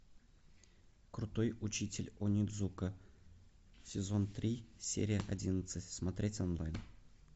крутой учитель онидзука сезон три серия одиннадцать смотреть онлайн